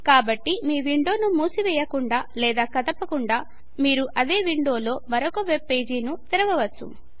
కాబట్టి మీ విండోను మూసివేయకుండా లేదా కదుపకుండా మీరు అదే విండోలో మరొక వెబ్ పేజి ను తెరవవచ్చు